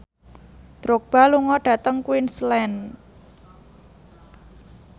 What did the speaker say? Drogba lunga dhateng Queensland